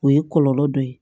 O ye kɔlɔlɔ dɔ ye